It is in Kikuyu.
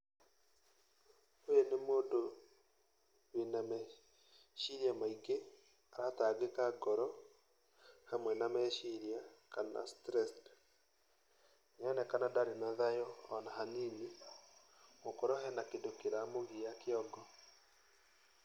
Ũyũ nĩ mũndũ wĩna meciria maingĩ, aratangĩka ngoro, hamwe na meciria, kana stressed ,nĩ aronekana ndarĩ na thayũ ona hanini, gũkorwo hena kĩndũ kĩramũgia kĩongo.